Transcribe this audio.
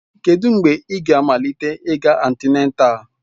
Kedụ mgbe ị ga-amalite ịga antịnátál?